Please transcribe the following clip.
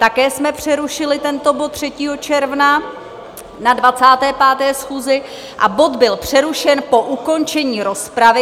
Také jsme přerušili tento bod 3. června na 25. schůzi a bod byl přerušen po ukončení rozpravy.